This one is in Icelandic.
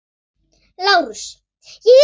LÁRUS: Ég er hann.